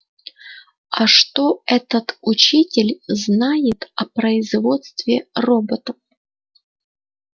а что этот учитель знает о производстве роботов